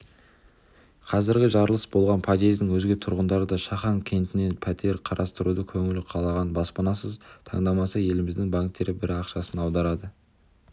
қазір жарылыс болған подъездің өзге тұрғындары да шахан кентінен пәтер қарастыруда көңілі қалаған баспанасын таңдаса еліміздегі банктердің бірі ақшасын аударады